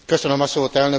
Elnök úr!